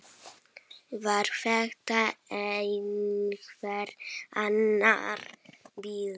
Var þetta einhver annar bíll?